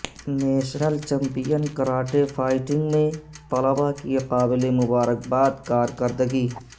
national champion karate fighting میں طلباء کی قابل مبارکباد کار کرگی